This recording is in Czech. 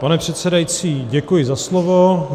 Pane předsedající, děkuji za slovo.